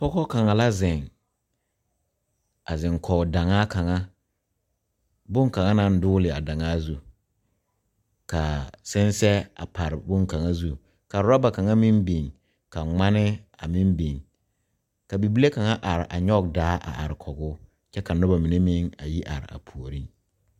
Pɔga kaŋa la zeŋ a zeŋ koge daŋaa kaŋa boŋkaŋa naŋ dogele a daŋaa zu kaa sensɛɛ a pare boŋkaŋa zu ka rubber kaŋa meŋ biŋ ka ŋmane a meŋ biŋ ka bibile kaŋa are a nyɔge daa a are koge o kyɛ ka noba mine meŋ a yi are a puori